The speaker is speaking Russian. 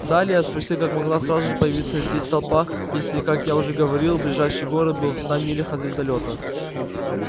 далее я спросил как могла сразу же появиться здесь толпа если как я уже говорил ближайший город был в ста милях от звездолёта